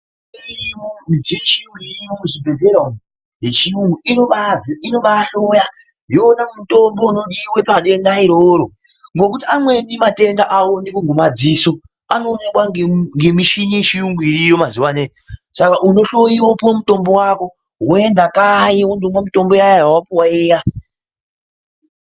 Midziyo yechiyungu irimo muzvibhehlera umwu yechiyungu inobaahloya yoona mutombo unodiwa pa denda iroro ngekuti amweni madenda awoneki ngemadziso anoonekwa ngemishini yechiyungu iriyo mazuwa ano saka unohloyiwa wopiwe mitombo yako woenda kanyi wonomwa mitombo yako yawapiwa iya.